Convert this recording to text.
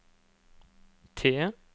T